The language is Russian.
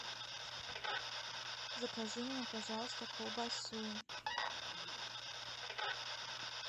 закажи мне пожалуйста колбасу